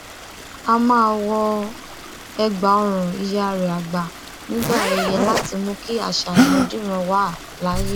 ó máa ń wọ ẹgbàọrùn ìyá rẹ àgbà nígbà ayẹyẹ láti mú kí àṣà ìrandíran wà láàyè